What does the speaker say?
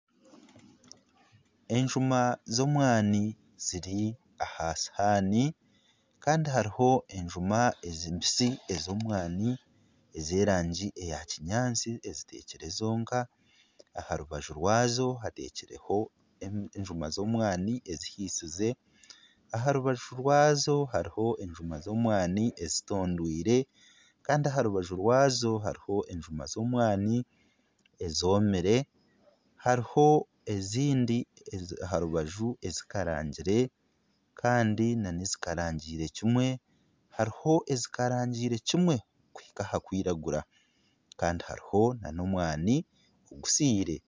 Enjuma z'omwani ziri aha sihaani. Kandi hariho enjuma eziri mbisi ez'omwani ez'erangi eya kinyaatsi eziteekire zonka. Aha rubaju rwazo hateekire enjuma z'omwani ezihiisize. Aha rubaju rwazo hariho enjuma z'omwani ezitondoirwe. Kandi aha rubaju rwazo hariho enjuma z'omwani ezomire. Hariho ezindi aha rubaju ezikarangire kandi n'ezikarangiire kimwe. Hariho ezikarangiire kimwe kuhika aha kwiragura. Kandi hariho n'omwani ogusiire.